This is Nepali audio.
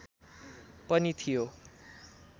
पनि थियो